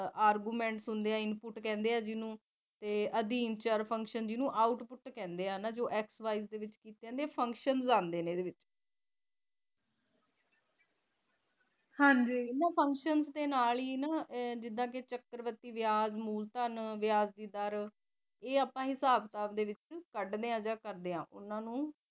faction ਦੇ ਨਾਲ ਹੀ ਨਾ ਜਿਦਾ ਕਿ ਚੱਕਰ ਵੱਰਤੀ ਵਿਆਜ ਮੁਲਧਨ ਵਿਆਜ ਦੀ ਦਰ ਇਹ ਆਪਾ ਇਹ ਆਪਾ ਹਿਸਾਬ ਕਿਤਾਬ ਦੇ ਵਿੱਚ ਕੱਢਦੇ ਆ ਜਾ ਉਹਨਾ ਨੂੰ